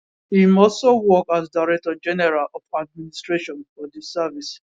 im also work as director general of administration for di service